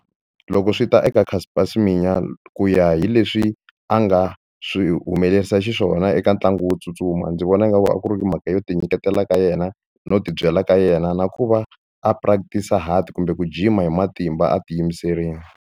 Loko swi ta eka Caster Semenya ku ya hi leswi a nga swi humelerisa xiswona eka ntlangu wo tsutsuma ndzi vona nga ku a ku ri mhaka yo ti nyiketela ka yena no tibyela ka yena na ku va a practice-a hard kumbe ku jima hi matimba a ti yimiserile.